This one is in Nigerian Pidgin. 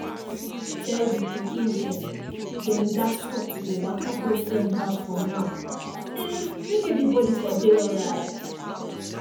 tell the pikin dem dem gats stop to dey waka go friend house for now um make everybody for dey alright